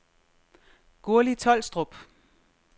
Gurli Tolstrup